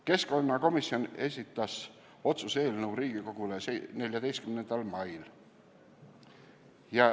Keskkonnakomisjon esitas otsuse eelnõu Riigikogule 14. mail.